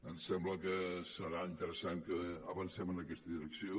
em sembla que serà interessant que avancem en aquesta direcció